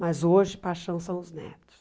Mas hoje, paixão são os netos.